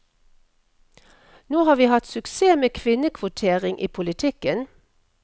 Nå har vi hatt suksess med kvinnekvotering i politikken.